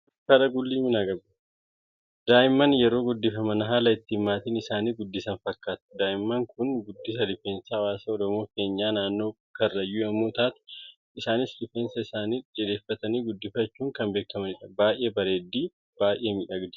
Daa'imman yeroo guddifaman haala itti maatiin isaan guddisan fakkaatu. Daa'imni Kun guddisa rifeensaa hawaasa Oromoo keenyaa naannoo karrayyuu yemmuu taatu isaanis rifeensa isaanii dheereffatanii guddifachuun kan beekamanidha. Baayyee bareeddi, baayyee miidhagdi.